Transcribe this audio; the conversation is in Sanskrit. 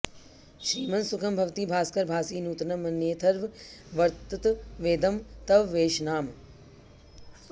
श्रीमन्सुखं भवति भास्कर भासि नूत्नं मन्येऽर्थवत्ततवेदं तव वेश्मनाम